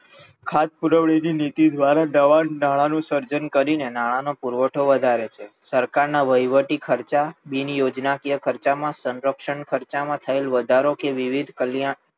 ખાધ પુરવણીની નીતિ દ્વારા નવાં નાણાંનું સર્જન કરીને નાણાંનો પુરવઠો વધારે છે સરકારના વહીવટી ખર્ચા બિનયોજનાકીય ખર્ચામાં સંરક્ષણ ખર્ચામાં થયેલ વધારો કે વિવિધ કલ્યાણ